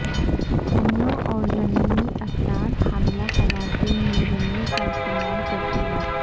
حملوں اور ضمنی اثرات حاملہ خواتین میں رنی کا استعمال کرتے وقت